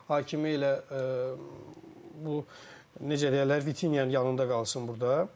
Hakimi elə bu necə deyərlər, Vitinyanın yanında qalsın burda.